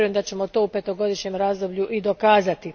Vjerujem da ćemo to u petogodišnjem razdoblju i dokazati.